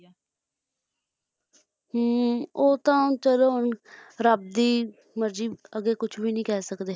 ਹਮ ਉਹ ਤਾਂ ਚਲੋ ਰੱਬ ਦੀ ਮਰਜ਼ੀ ਅਸੀਂ ਕੁਝ ਵੀ ਨਹੀਂ ਕਹਿ ਸਕਦੇ